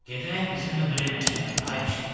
Gedək bizimlə Bremen şəhərinə, ay pişik.